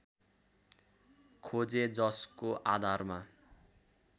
खोजे जसको आधारमा